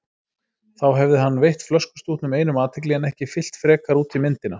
Þá hefði hann veitt flöskustútnum einum athygli en ekki fyllt frekar út í myndina.